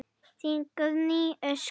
Þín Guðný Ósk.